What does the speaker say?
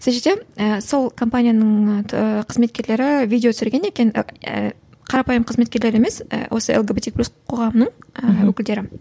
сол жерде ііі сол компанияның қызметкерлері видео түсірген екен қарапайым қызметкерлері емес ііі осы лгбтик плюс қоғамының ііі өкілдері